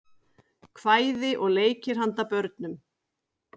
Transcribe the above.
Kvæði og leikir handa börnum.